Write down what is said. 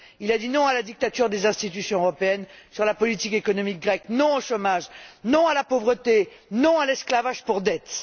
Il a dit non à la dictature des institutions européennes sur la politique économique grecque, non au chômage, non à la pauvreté, non à l'esclavage pour dette.